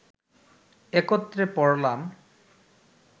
একত্রে পড়লাম